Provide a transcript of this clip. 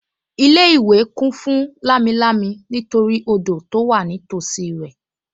Ilé-ìwé kún fún lámilámi nítorí odò tó wà nítòsí rẹ̀